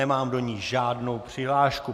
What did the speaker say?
Nemám do ní žádnou přihlášku.